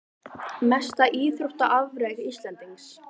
Mesta íþróttaafrek Íslendings?